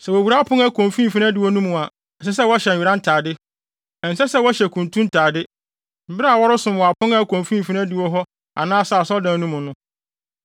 “ ‘Sɛ wowura apon a ɛkɔ mfimfini adiwo no mu a, ɛsɛ sɛ wɔhyɛ nwera ntade. Ɛnsɛ sɛ wɔhyɛ kuntu ntade, bere a wɔresom wɔ apon a ɛkɔ mfimfini adiwo hɔ anaasɛ asɔredan no mu no.